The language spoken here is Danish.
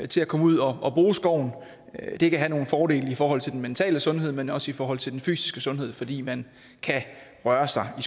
til at komme ud og bruge skoven det kan have nogle fordele i forhold til den mentale sundhed men også i forhold til den fysiske sundhed fordi man kan røre sig i